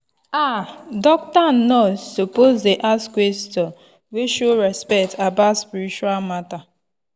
ah doctor and nurse suppose dey ask question wey show respect about spiritual matter.